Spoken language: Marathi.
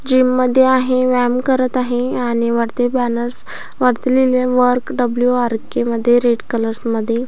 जिम मध्ये आहे व्यायाम करत आहे आणि वरती बॅनर्स वरती लिहलय वर्क डब्लू आर के मध्ये रेड कलर्स मध्ये--